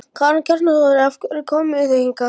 Karen Kjartansdóttir: Af hverju komuð þið hingað?